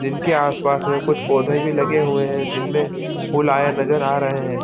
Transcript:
जिनके आस-पास में कुछ पौधे भी लगे हुए है जिनमे फूल आए नजर आ रहे है।